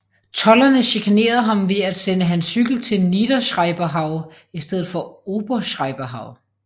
Tolderne chikanerede ham ved at sende hans cykel til Niederschreiberhau i stedet for Oberschreiberhau